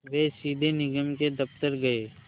वे सीधे निगम के दफ़्तर गए